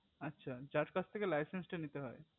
আচ্ছা যার কাছ থেকে laichech টা নিতে হয়